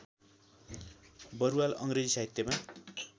बरुवाल अङ्ग्रेजी साहित्यमा